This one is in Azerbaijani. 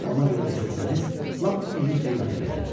Ona görə də istəsəniz, lap ucuz qiymətə verərəm.